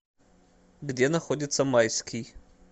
где находится майский